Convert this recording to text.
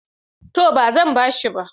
To, ba zan ba shi ba.